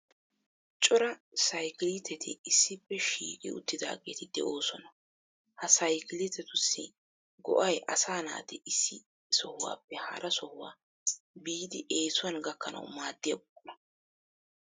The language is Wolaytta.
Cora sayikiliiteti issippe shiiqi uttidaageeti de'oosona. Ha saykiletussi go"ay asaa naati issi sohuwappe hara sohuwa biidi eesuwan gakkanawu maaddiya buqura.